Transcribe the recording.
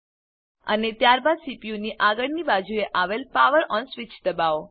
અને ત્યારબાદ સીપીયુની આગળની બાજુએ આવેલ પાવર ઓન સ્વીચ દબાવો